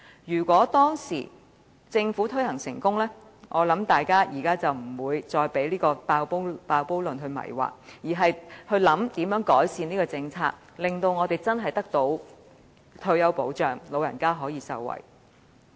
如果當年政府推行成功，我相信大家便不會被"爆煲論"迷惑，而會研究如何改善這項政策，令我們真正得到退休保障，長者可以受惠。